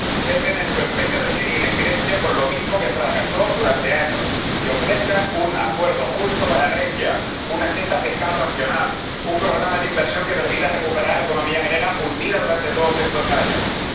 Cesen en su empeño de seguir en Grecia con lo mismo que fracasó durante años, y ofrezcan un acuerdo justo para Grecia, una senda fiscal racional, un programa de inversión que permita que la economía griega, hundida durante todos estos años, se recupere.